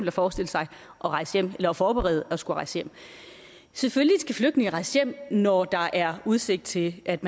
at forestille sig at rejse hjem eller at forberede det at skulle rejse hjem selvfølgelig skal flygtninge rejse hjem når der er udsigt til at